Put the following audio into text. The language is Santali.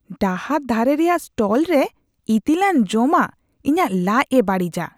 ᱰᱟᱦᱟᱨ ᱫᱷᱟᱨᱮ ᱨᱮᱭᱟᱜ ᱥᱴᱚᱞᱨᱮ ᱤᱛᱤᱞᱟᱱ ᱡᱚᱢᱟᱜ ᱤᱧᱟᱹᱜ ᱞᱟᱡᱽᱼᱮ ᱵᱟᱹᱲᱤᱡᱟ ᱾